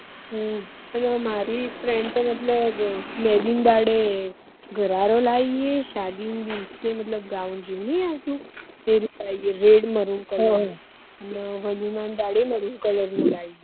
હમ મારી friend તો મતલબ મેહંદી ના દાડે ઘરારો લઇ હૈ શાદી ના દિવેસ મતલબ ઘાઉન જેવું નહિ આવતું એવું લઇ હૈ red મરુન colour નું અને મરુન colour નું લાઈ હે